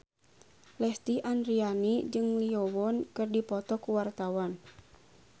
Lesti Andryani jeung Lee Yo Won keur dipoto ku wartawan